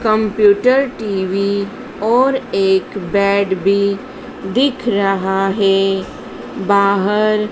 computer TV और एक bed भीं दिख रहा हैं बाहर--